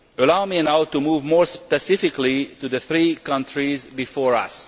Allow me now to move more specifically to the three countries before us.